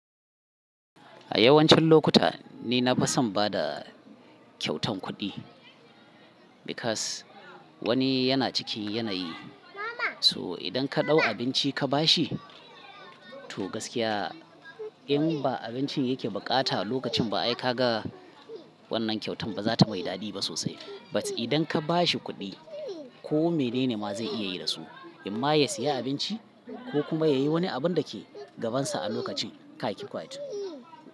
A yawancin lokuta ni na fason bada kyautan kuɗi because wani yana cikin yanayi, so idan ka ɗau abinci ka ba shi to gaskiya in ba abincin yake bukata a lokacin ba ai ka ga wannan kyautan bazata mai daɗi ba sosai. But idan ka ba shi kuɗi ko menene ma zai iya yi da su, in ma ya siya abinci ko kuma yayi wani abun dake gabansa a lokacin kai ki kwace.